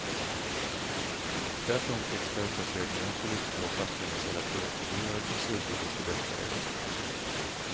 Tvärtom tycks företagsledningar, politiker och fackföreningsledare tro att ju dyrare konsulter desto bättre är det.